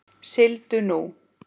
Sigldu nú.